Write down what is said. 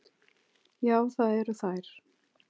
Já, það eru þær.